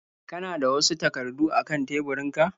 Kana da wasu takardu a kan teburinku?